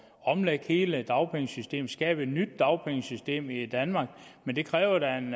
omlægge hele dagpengesystemet skabe et nyt dagpengesystem i danmark men det kræver da en